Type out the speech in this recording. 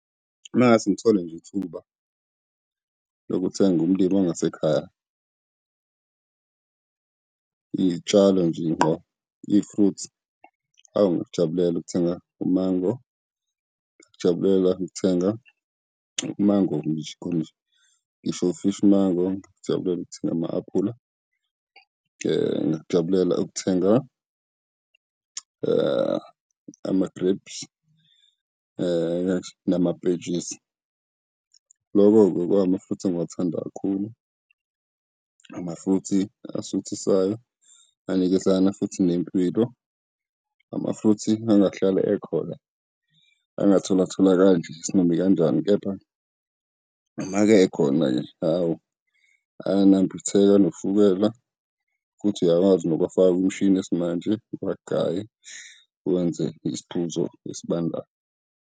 Uma ngase ngithole nje ithuba lokuthenga kumlimi ongasekhaya, iy'tshalo nje ngqo, i-fruthi. Hawu, ngingakujabulela ukuthenga umango, ngingakujabulela ukuthenga umango ngisho ufishi mango, ngingakujabulela ukuthenga ama-aphula, ngingakujabulela ukuthenga ama-grapes namapentshisi. Loko bekuhamafruthi engiwathanda kakhulu. Amafruthi asuthisayo, anikezana futhi nempilo, amafruthi angahlalekhona angatholatholakali kanje isinomikanjani. Kepha uma-ke ekhona-ke, hawu, ayanambitheka, anoshukela futhi uyakwazi nokuwafaka kumshini yesimanje, uwagaye wenze isiphuzo esibandayo.